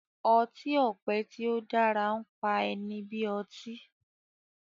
ọti-ọpẹ tí o dára npá ẹni bí ọtí